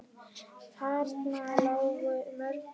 Þarna lágu mörkin.